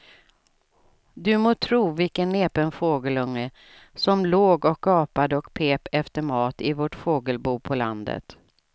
Du må tro vilken näpen fågelunge som låg och gapade och pep efter mat i vårt fågelbo på landet.